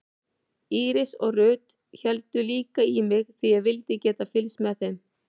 Íris og Ruth héldu líka í mig því ég vildi geta fylgst með þeim.